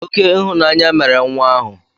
Oké ịhụnanya mere nwa ahụ